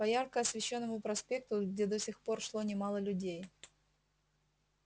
по ярко освещённому проспекту где до сих пор шло немало людей